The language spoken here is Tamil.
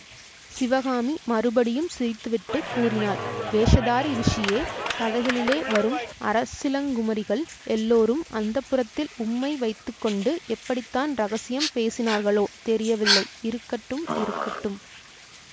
சிவகாமி மறுபடியும் சிரித்துவிட்டுக் கூறினாள் வேஷதாரி ரிஷியே கதைகளிலே வரும் அரசிளங்குமரிகள் எல்லோரும் அந்தப்புரத்தில் உம்மை வைத்து கொண்டு எப்படி தான் இரகசியம் பேசினார்களோ தெரியவில்லை இருக்கட்டும் இருக்கட்டும்